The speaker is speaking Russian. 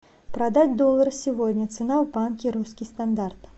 продать доллар сегодня цена в банке русский стандарт